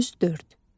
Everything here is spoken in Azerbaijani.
104.